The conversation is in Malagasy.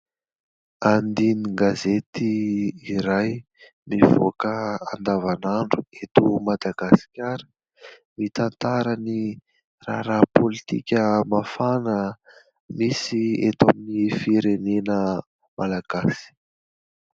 Andinin-gazety iray mivoaka andavanandro eto Madagasikara, mitantara ny raharaha pôlitika mafana misy eto amin'ny firenena malagasy.